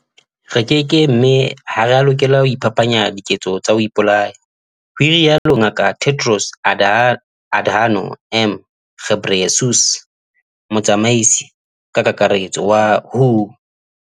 "Re keke mme ha re a lokela ho iphapanya diketso tsa ho ipolaya," ho rialo Ngaka Tedros Adhano m Ghebreyesus, Motsamaisi-Kakaretso wa WHO.